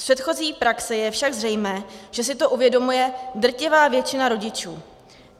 Z předchozí praxe je však zřejmé, že si to uvědomuje drtivá většina rodičů.